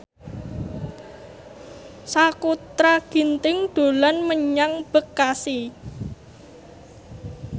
Sakutra Ginting dolan menyang Bekasi